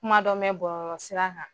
Kuma dɔ mɛn bɔlɔlɔ sira kan.